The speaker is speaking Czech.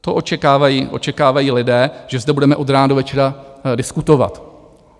To očekávají lidé, že zde budeme od rána do večera diskutovat.